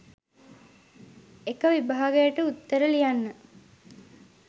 එක විභාගයකට උත්තර ලියන්න